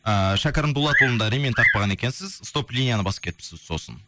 ііі шәкәрім дулатұлында ремень тақпаған екенсіз стоп линияны басып кетіпсіз сосын